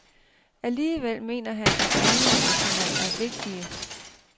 Alligevel mener han, at anmeldelserne er vigtige.